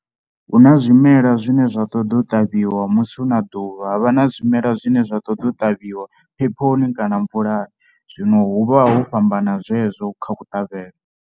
Hu na zwimela zwine zwa ṱoḓe u ṱavhiwa musi hu na ḓuvha, ha vha na zwimela zwine zwa ṱoḓea u ṱavhiwa phephoni kana mvulani zwino hu vha ho fhambana zwezwo kha kuṱavhele.